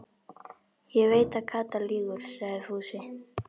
Ég veit að Kata lýgur, sagði Fúsi.